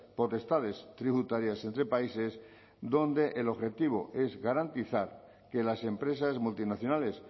potestades tributarias entre países donde el objetivo es garantizar que las empresas multinacionales